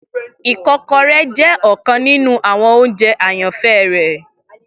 ikokore jẹ ọkan ninu awọn ounjẹ ayanfẹ rẹ